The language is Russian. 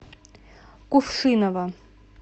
кувшиново